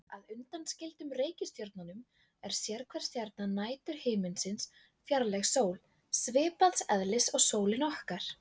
Að undanskildum reikistjörnunum er sérhver stjarna næturhiminsins fjarlæg sól, svipaðs eðlis og sólin okkar.